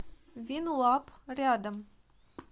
винлаб рядом